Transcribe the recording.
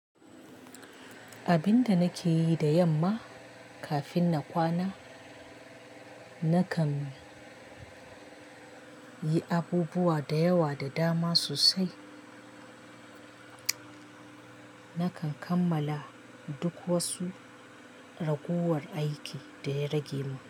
Abin da nake yi da yamma kafin na kwana, nakan yi abubuwa da yawa da dama sosai. Nakan kammala duk wasu ragowar aiki da ya rage mun.